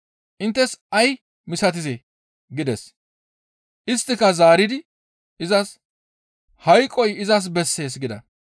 Inttes ay misatizee?» gides. Isttika zaaridi izas, «Hayqoy izas bessees» gida.